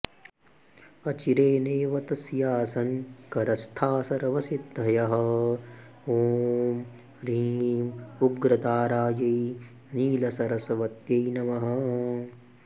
अचिरे नैव तस्यासन् करस्था सर्वसिद्धयः ॐ ह्रीं उग्रतारायै नीलसरस्वत्यै नमः